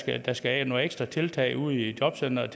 at der skal nogle ekstra tiltag til ude i jobcenteret